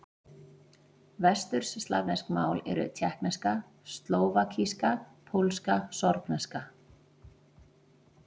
Vesturslavnesk mál eru: tékkneska, slóvakíska, pólska, sorbneska.